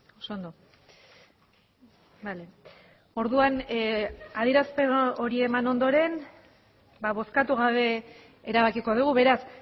oso ondo orduan adierazpen hori eman ondoren bozkatu gabe erabakiko dugu beraz